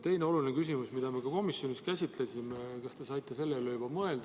Teine oluline küsimus, mida me ka komisjonis käsitlesime – kas te saite selle üle mõelda?